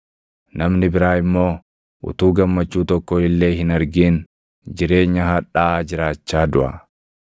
Namni biraa immoo utuu gammachuu tokko illee hin argin, jireenya hadhaaʼaa jiraachaa duʼa.